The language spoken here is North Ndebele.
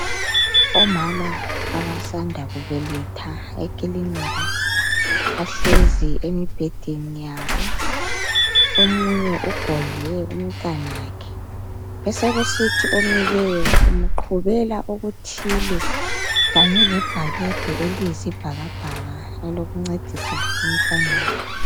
Omama abasamda kubeletha ekilinika bahlezi embhedeni yabo omunye ugodle umntanakhe nesekusithi omileyo umqhubela okuthile Kanye labhakede eliyisibhakabhaka elokuncedisa emntwaneni.